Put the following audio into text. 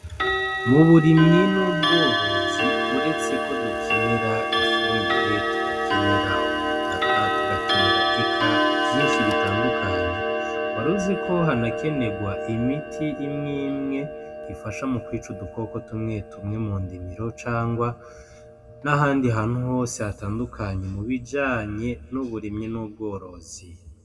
Muburimyi n'ubworozi uretse ko dukenera ifumbire turakenera ubutaka tugakenera eka vyinshi bitandukanye , waruzi ko hanakenerwa imiti imwe imwe ifasha mu kwica udukoko tumwe tumwe mu ndimiro canke ahandi hantu hose hatandukanye mubijanye n'uburimyi n'ubworozi.